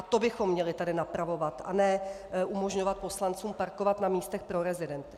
A to bychom tady měli napravovat, a ne umožňovat poslancům parkovat na místech pro rezidenty.